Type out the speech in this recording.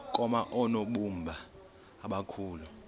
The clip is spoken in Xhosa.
koma oonobumba abakhulu